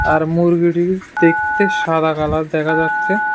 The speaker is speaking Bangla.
আর মুরগিটির দেখতে সাদা কালার দেখা যাচ্ছে।